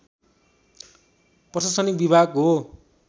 प्रशासनिक विभाग हो